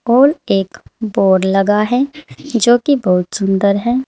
और एक बोर्ड लगा है जो कि बहुत सुंदर है।